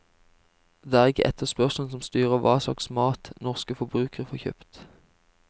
Det er ikke etterspørselen som styrer hva slags mat norske forbrukere får kjøpt.